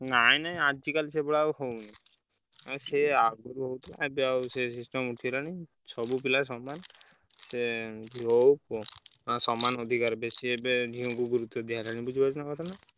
ନାଇଁ ନାଇଁ ଆଜିକାଲି ସେଗୁଡା ହଉନି ସିଏ ଆଗରୁ ହଉଥିଲା system ଉଠିଗଲାଣି ସବୁ ପିଲା ସମାନ ସେ ଝିଅ ହଉ ପୁଅ ସମାନ ଅଧିକାର ବେଶୀ ଏବେ ଝିଅଙ୍କୁ ଗୁରୁତ୍ବ ଦିଆହେଲାଣି ବୁଝିପାରୁଛ ନା?